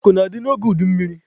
Akụ na-adị n'oge udummiri.